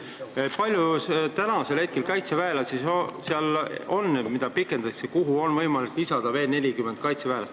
Kui palju kaitseväelasi on praegu sellel missioonil, mille tähtaega pikendatakse ja mille isikkoosseisu on võimalik suurendada 40 kaitseväelaseni?